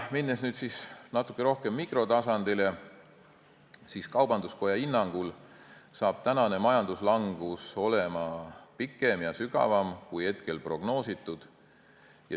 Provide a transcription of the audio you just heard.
Minnes natuke rohkem mikrotasandile, siis kaubanduskoja hinnangul on majanduslangus pikem ja sügavam, kui on hetkel prognoositud.